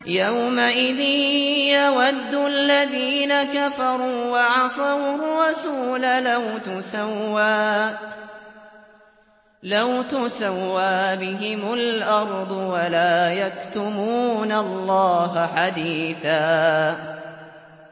يَوْمَئِذٍ يَوَدُّ الَّذِينَ كَفَرُوا وَعَصَوُا الرَّسُولَ لَوْ تُسَوَّىٰ بِهِمُ الْأَرْضُ وَلَا يَكْتُمُونَ اللَّهَ حَدِيثًا